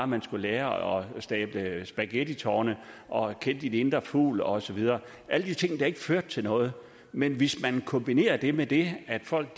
man skulle lære at stable spaghetti i tårne og kende sin indre fugl og så videre alle de ting der ikke førte til noget men hvis man kombinerer det med det at folk